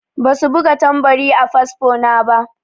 Ba su buga tambari a fasfo na ba.